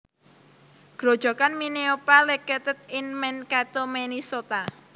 Grojogan Minneopa located in Mankato Minnesota